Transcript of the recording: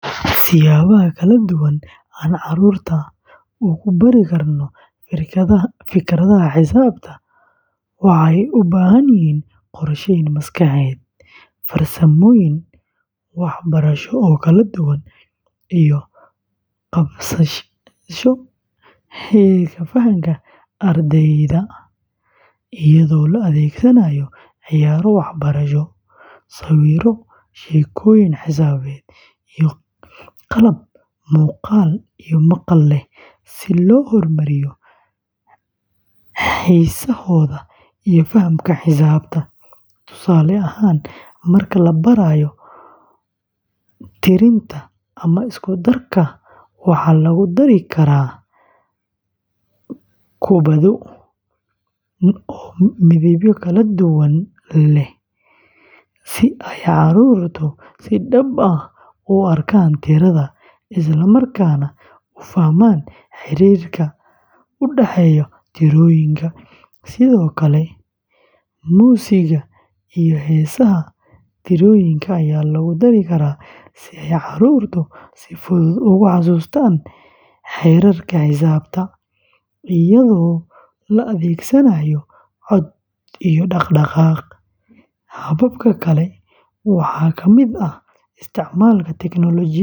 Siyaabaha kala duwan ee aan carruurta ugu bari karno fikradaha xisaabta waxay u baahan yihiin qorsheyn maskaxeed, farsamooyin waxbarasho oo kala duwan, iyo la qabsasho heerka fahamka ardayda, iyadoo la adeegsanayo ciyaaro waxbarasho, sawirro, sheekooyin xisaabeed, iyo qalab muuqaal iyo maqal leh si loo hormariyo xiisahooda iyo fahamka xisaabta; tusaale ahaan, marka la barayo tirinta ama isku darka, waxaa lagu dari karaa kubbado ama blocks midabyo kala duwan leh si ay carruurtu si dhab ah ugu arkaan tirada, isla markaana u fahmaan xiriirka u dhexeeya tirooyinka; sidoo kale, muusigga iyo heesaha tirooyinka ayaa lagu dari karaa si ay carruurtu si fudud ugu xasuustaan xeerarka xisaabta, iyadoo la adeegsanayo cod iyo dhaqdhaqaaq; hababka kale waxaa kamid ah isticmaalka teknoolojiyadda.